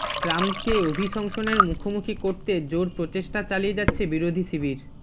ট্রাম্পকে অভিশংসনের মুখোমুখি করতে জোর প্রচেষ্টা চালিয়ে যাচ্ছে বিরোধী শিবির